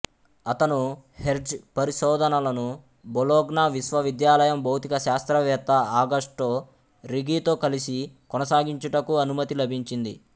అతను హెర్ట్జ్ పరిశోధనలను బొలోగ్నా విశ్వవిద్యాలయం భౌతిక శాస్త్రవేత్త ఆగస్టో రిఘితో కలసి కొనసాగించుటకు అనుమతి లభించింది